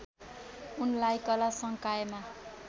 उनलाई कला संकायमा